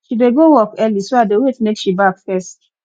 she dey go work early so i dey wait make she baff first